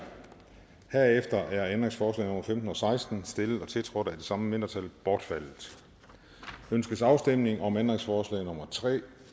herefter er ændringsforslag nummer femten og seksten stillet og tiltrådt af det samme mindretal bortfaldet ønskes afstemning om ændringsforslag nummer tre